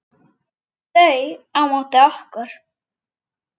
Þau á móti okkur.